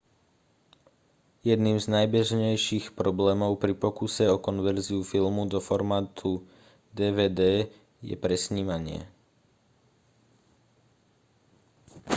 jedným z najbežnejších problémov pri pokuse o konverziu filmu do formátu dvd je presnímanie